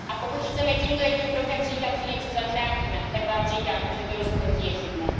A pokud chceme tímto jedním krokem říkat, že něco zachráníme, tak vám říkám, že to rozhodnutí je chybné.